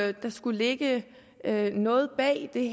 at der skulle ligge noget bag det